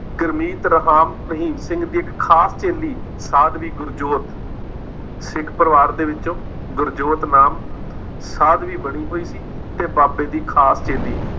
ਗੁਰਮੀਤ ਰਾਮ ਰਹੀਮ ਸਿੰਘ ਦੀ ਇੱਕ ਖਾਸ ਚੇਲੀ ਸਾਧਵੀ ਗੁਰਜੋਤ, ਸਿੱਖ ਪਰਿਵਾਰ ਦੇ ਵਿੱਚੋ ਗੁਰਜੋਤ ਨਾਮ ਸਾਧਵੀ ਬਣੀ ਹੋਈ ਸੀ ਤੇ ਬਾਬੇ ਦੀ ਖਾਸ ਚੇਲੀ ਸੀ।